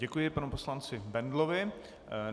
Děkuji panu poslanci Bendlovi.